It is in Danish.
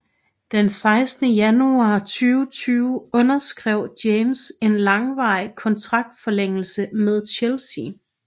Den 16 januar 2020 underskrev James en langvarig kontraktforlængelse med Chelsea